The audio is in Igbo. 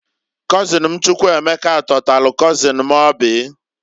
Kọzịn m Chukwuemeka tọtalụ kọzịn m Oby.